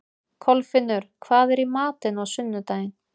Kolfinnur, hvað er í matinn á sunnudaginn?